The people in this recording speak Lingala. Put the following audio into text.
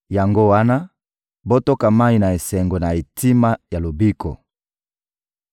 Yango wana, botoka mayi na esengo na etima ya lobiko.